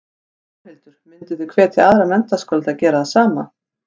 Þórhildur: Mynduð þið hvetja aðra menntaskóla til að gera það sama?